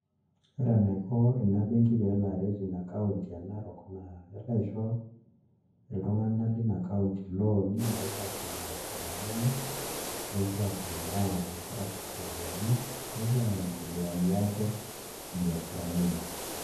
Ore enaiko ina benki pee elo aret ina kaunti e Narok naa kelo aisho iltung'anak lina kaunti ilooni nepuo aasie biasharani enye nepuo aayaiiyie nkera sukuuluni nepuo aiendeleayie ate biasharani enye.